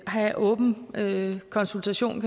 have åben konsultation